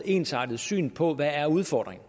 ensartet syn på hvad udfordringen